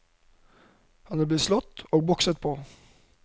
Han er blitt slått og bokset på.